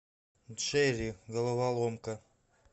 джерри головоломка